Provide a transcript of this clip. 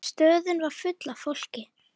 Stöðin var full af fólki.